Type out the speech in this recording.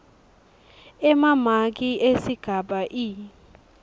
emamaki esigaba e